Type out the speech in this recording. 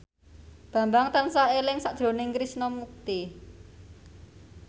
Bambang tansah eling sakjroning Krishna Mukti